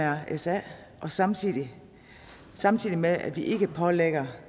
af mrsa samtidig samtidig med at vi ikke pålægger